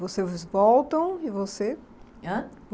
Vocês voltam e você? Ãh?